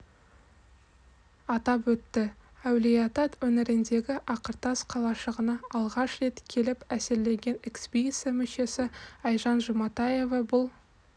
атап өтті әулиеата өңіріндегі ақыртас қалашығына алғаш рет келіп әсерленген экспедиция мүшесі айжан жұматаева бұл